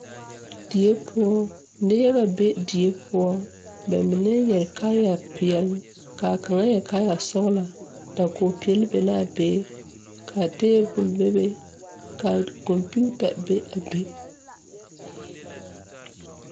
Die poɔ neŋ yaga be die poɔ ba mine yɛre kaayɛ peɛle kaa kaŋa yɛre kaayɛ sɔglɔ dakogevoeɛle be laa be kaa tabol bebe ka kɔmpiuta be a be.